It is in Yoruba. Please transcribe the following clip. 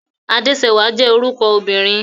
Adéṣẹwà jẹ́ orúkọ obìnrin.